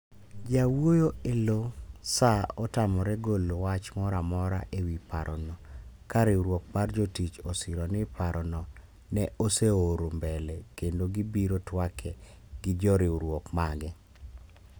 Jawuoyo e lo SAA otamore golo wach moro amora e wi parono ka riwruok mar jotich osiro ni parono ne oseoro mbele kendo gi biro twake gi joriwruok mage.